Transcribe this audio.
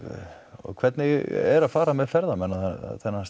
og hvernig er að fara með ferðamenn á þennan stað